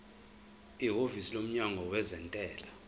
ihhovisi lomnyango wezentela